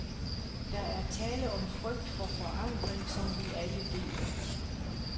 Der er tale om en frygt for forandring, som vi alle deler.